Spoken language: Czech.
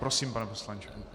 Prosím, pane poslanče.